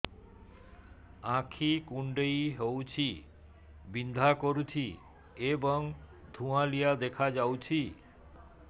ଆଖି କୁଂଡେଇ ହେଉଛି ବିଂଧା କରୁଛି ଏବଂ ଧୁଁଆଳିଆ ଦେଖାଯାଉଛି